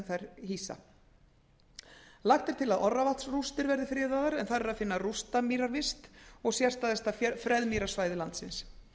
þær hýsa lagt er til að orravatnsrústir verði friðaðar en þar er að finna rústamýravist og sérstæðasta freðmýrasvæði landsins